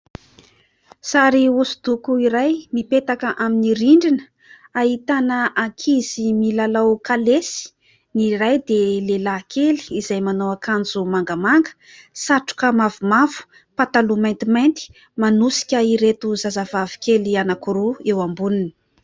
Sary hosodoko iray mipetaka amin'ny rindrina ahitana ankizy milalao kalesy : ny ray dia lehilahy kely izay manao akanjo mangamanga, satroka mavomavo, pataloha maintimainty manosika ireto zazavavy kely anankiroa eo amboniny.